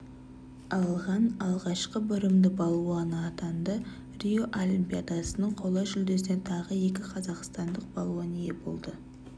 алған алғашқы бұрымды балуан атанды рио олимпиадасының қола жүлдесіне тағы екі қазақстандық балуан ие болды